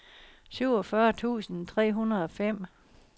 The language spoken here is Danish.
syvogfyrre tusind tre hundrede og fem